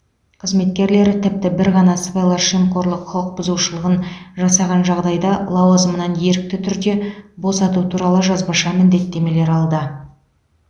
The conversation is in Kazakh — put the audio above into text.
қызметкерлері тіпті бір ғана сыбайлас жемқорлық құқық бұзушылығын жасаған жағдайда лауазымынан ерікті түрде босату туралы жазбаша міндеттемер алды